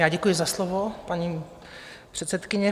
Já děkuji za slovo, paní předsedkyně.